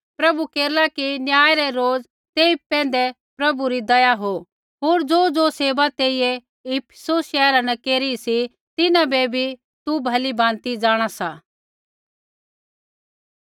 प्रभु केरला कि न्याय रै रोज़ तेई पैंधै प्रभु री दया हो होर ज़ोज़ो सेवा तेइयै इफिसुस शैहरा न केरी सी तिन्हां बै भी तू भलीभाँति जाँणा सा